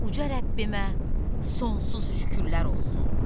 Uca Rəbbimə sonsuz şükürlər olsun.